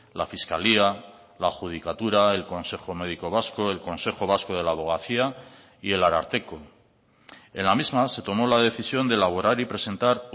la fiscalía la judicatura el consejo médico vasco el consejo vasco de la abogacía y el ararteko en la misma se tomó la decisión de elaborar y presentar